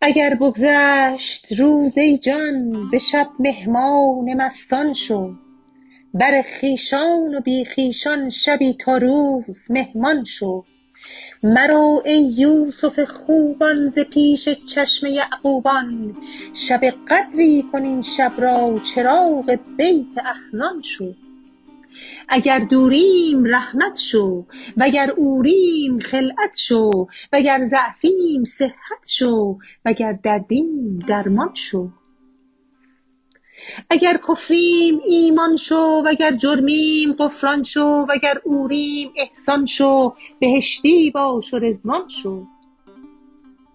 اگر بگذشت روز ای جان به شب مهمان مستان شو بر خویشان و بی خویشان شبی تا روز مهمان شو مرو ای یوسف خوبان ز پیش چشم یعقوبان شب قدری کن این شب را چراغ بیت احزان شو اگر دوریم رحمت شو وگر عوریم خلعت شو وگر ضعفیم صحت شو وگر دردیم درمان شو اگر کفریم ایمان شو وگر جرمیم غفران شو وگر عوریم احسان شو بهشتی باش و رضوان شو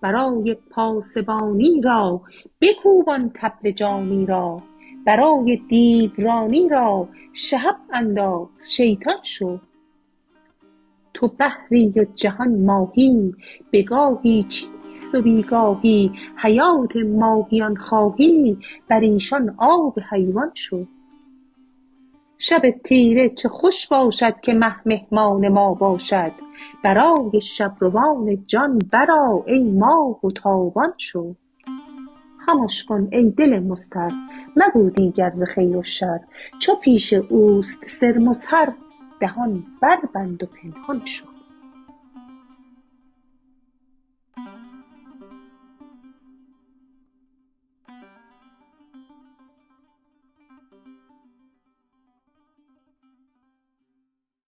برای پاسبانی را بکوب آن طبل جانی را برای دیورانی را شهب انداز شیطان شو تو بحری و جهان ماهی به گاهی چیست و بی گاهی حیات ماهیان خواهی بر ایشان آب حیوان شو شب تیره چه خوش باشد که مه مهمان ما باشد برای شب روان جان برآ ای ماه تابان شو خمش کن ای دل مضطر مگو دیگر ز خیر و شر چو پیش او است سر مظهر دهان بربند و پنهان شو